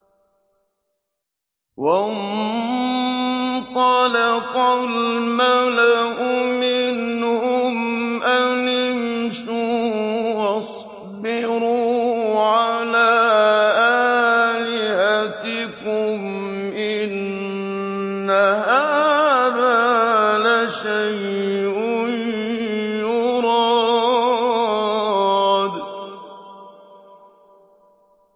وَانطَلَقَ الْمَلَأُ مِنْهُمْ أَنِ امْشُوا وَاصْبِرُوا عَلَىٰ آلِهَتِكُمْ ۖ إِنَّ هَٰذَا لَشَيْءٌ يُرَادُ